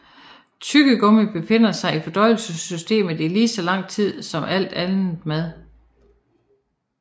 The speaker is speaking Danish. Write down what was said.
Tyggegummi befinder sig i fordøjelsessystemet i lige så lang tid som alt andet mad